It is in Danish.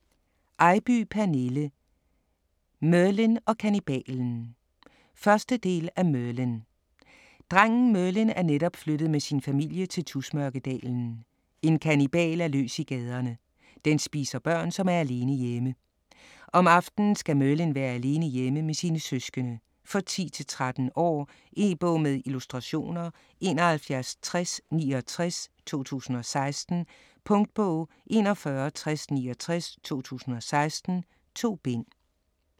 Eybye, Pernille: Merlin og kannibalen 1. del af Merlin. Drengen Merlin er netop flyttet med sin familie til Tusmørkedalen. En kannibal er løs i gaderne. Den spiser børn, som er alene hjemme. Om aftenen skal Merlin være alene hjemme med sine søskende. For 10-13 år. E-bog med illustrationer 716069 2016. Punktbog 416069 2016. 2 bind.